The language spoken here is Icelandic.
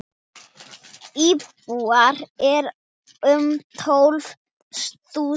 Íbúar eru um tólf þúsund.